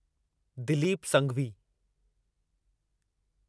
Dilip Sanghvi